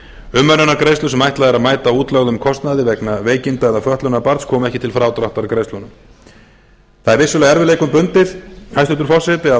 umönnunargreiðslur sem ætlað er að mæta útlögðum kostnaði vegna veikinda eða fötlunar barns koma ekki til frádráttar greiðslunum það er vissulega erfiðleikum bundið hæstvirtur forseti að